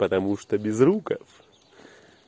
потому что безруков